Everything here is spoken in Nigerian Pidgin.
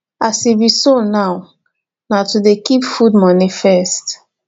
as e be so now na to dey keep food moni first